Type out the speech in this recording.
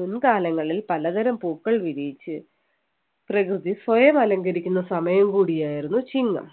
മുൻകാലങ്ങളിൽ പലതരം പൂക്കൾ വിരിയിച്ച് പ്രകൃതി സ്വയം അലങ്കരിക്കുന്ന സമയം കൂടിയായിരുന്നു ചിങ്ങം